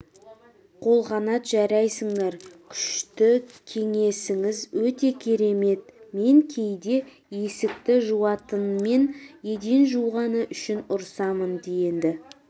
қолқанат жарайсыңдар күшті кеңесіңіз өте керемет мен кейде есікті жуатынмен еден жуғаны үшін ұрсамын енді